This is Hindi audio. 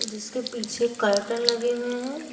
जिसके पीछे कर्टेन लगे हुए हैं।